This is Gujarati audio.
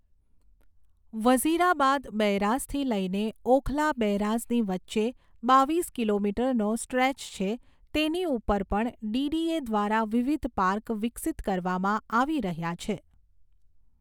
વઝીરાબાદ બૈરાઝથી લઈને ઓખલા બૈરાઝની વચ્ચે બાવીસ કિલોમીટરનો સ્ટ્રેચ છે તેની ઉપર પણ ડીડીએ દ્વારા વિવિધ પાર્ક વિકસીત કરવામાં આવી રહ્યા છે.